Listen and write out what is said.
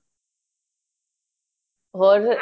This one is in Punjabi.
ਹੋਰ ਫੇਰ